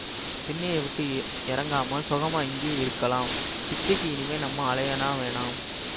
திண்ணெயெ விட்டு எறங்காமல் சொகமா இங்கேயே இருக்கலாம் பிச்சைக்கு இனிமே நம்ம அலைய வேணாம்